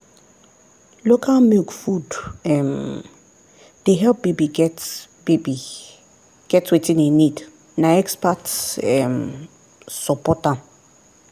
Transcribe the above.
local milk food um dey help baby get baby get wetin e need na expert um support am.